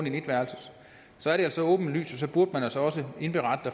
en etværelses så er det så åbenlyst og så burde man altså også indberette